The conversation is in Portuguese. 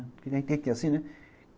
Porque tem que ter assim, né?